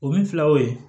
O min fila o ye